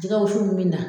Jɛgɛ wusu min bɛ na